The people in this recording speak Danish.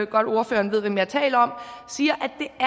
godt ordføreren ved hvem jeg taler om siger